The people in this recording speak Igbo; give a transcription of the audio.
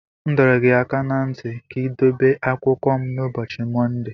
M dọrọ gị aka ná ntị ka ị dobe akwụkwọ m n'ụbọchị Mọnde.